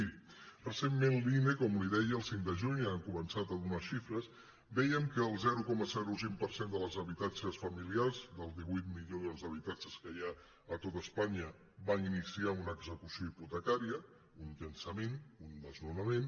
miri recentment l’ine com li deia el cinc de juny va començar a donar xifres vèiem que el zero coma cinc per cent dels habitatges familiars dels divuit milions d’habitatges que hi ha a tot espanya va iniciar una execució hipote·cària un llançament un desnonament